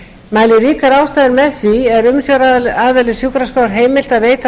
mæli ríkar ástæður með því er umsjónaraðila sjúkraskrár heimilt að veita